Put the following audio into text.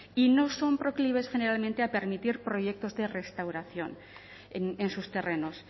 y no son proclives generalmente a permitir proyectos de restauración en sus terrenos